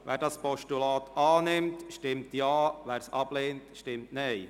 Wer das Postulat annimmt, stimmt Ja, wer es ablehnt, stimmt Nein.